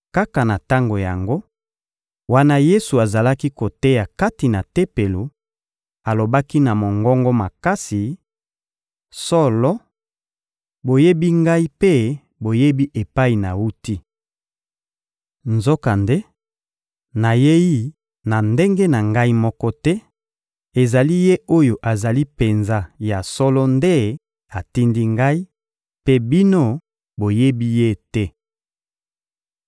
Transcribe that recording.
Kaka na tango yango, wana Yesu azalaki koteya kati na Tempelo, alobaki na mongongo makasi: — Solo, boyebi Ngai mpe boyebi epai nawuti! Nzokande, nayei na ndenge na Ngai moko te; ezali Ye oyo azali penza ya solo nde atindi Ngai, mpe bino, boyebi Ye te.